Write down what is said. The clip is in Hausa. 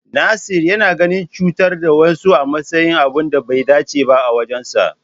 Nasir yana ganin cutar da wasu a matsayin abun da bai dace ba a wajensa.